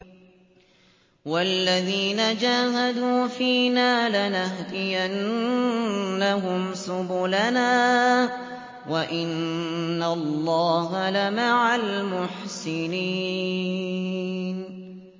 وَالَّذِينَ جَاهَدُوا فِينَا لَنَهْدِيَنَّهُمْ سُبُلَنَا ۚ وَإِنَّ اللَّهَ لَمَعَ الْمُحْسِنِينَ